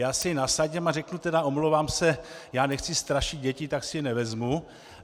Já si je nasadím a řeknu tedy: Omlouvám se, já nechci strašit děti, tak si je nevezmu.